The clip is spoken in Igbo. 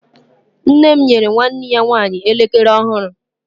nne m nyere nwanne ya nwanyi elekere ọhụrụ